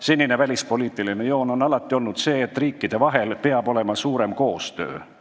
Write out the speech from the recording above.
Senine välispoliitiline joon on alati olnud see, et riikide vahel peab olema suurem koostöö.